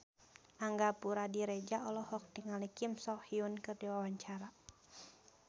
Angga Puradiredja olohok ningali Kim So Hyun keur diwawancara